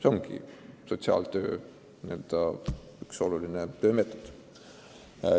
See on sotsiaaltöö oluline osa.